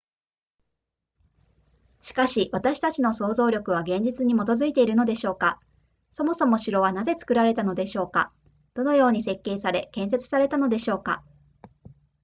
しかし私たちの想像力は現実に基づいているのでしょうかそもそも城はなぜ作られたのでしょうかどのように設計され建設されたのでしょうか